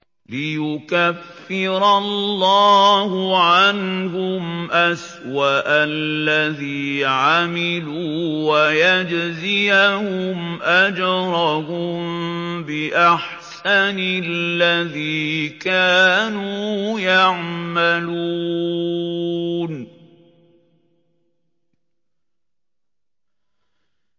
لِيُكَفِّرَ اللَّهُ عَنْهُمْ أَسْوَأَ الَّذِي عَمِلُوا وَيَجْزِيَهُمْ أَجْرَهُم بِأَحْسَنِ الَّذِي كَانُوا يَعْمَلُونَ